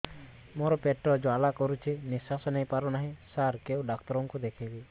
ମୋର ପେଟ ଜ୍ୱାଳା କରୁଛି ନିଶ୍ୱାସ ନେଇ ପାରୁନାହିଁ ସାର କେଉଁ ଡକ୍ଟର କୁ ଦେଖାଇବି